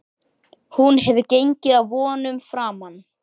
Hún hefur gengið vonum framar.